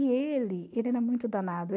E ele ele era muito danado.